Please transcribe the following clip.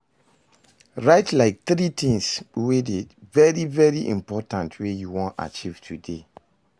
Write like tiri tins wey dey very very important wey you wan achieve today